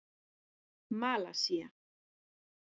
Malasía